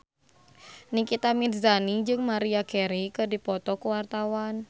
Nikita Mirzani jeung Maria Carey keur dipoto ku wartawan